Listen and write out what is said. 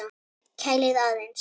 Kælið aðeins.